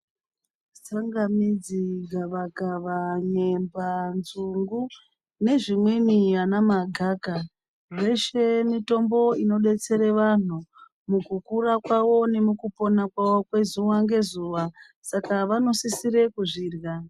Tsangamidzi, gavakava, nyemba, nzungu nezvimweni ana magakha zveshe mitombo inodetsera vanthu mukhukhura kwawo nemukhupona kwawo zuwa ngezuwa saka vanosisire kuzvirya.